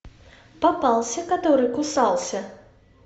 попался который кусался